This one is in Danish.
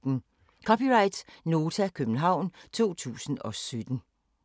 (c) Nota, København 2017